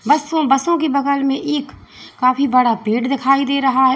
बस में बसों के बगल में एक काफी बड़ा पेड़ दिखाई दे रहा है।